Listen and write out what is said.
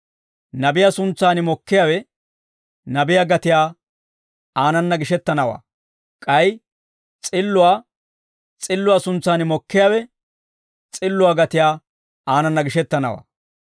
Nabiyaa, nabiyaa suntsaan mokkiyaawe, nabiyaa gatiyaa aanana gishettanawaa; k'ay s'illuwaa, s'illuwaa suntsaan mokkiyaawe, s'illuwaa gatiyaa aanana gishettanawaa.